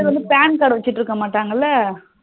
சில பேர் வந்து PAN card காடு வச்சுட்டு இருக்க மாட்டாங்களா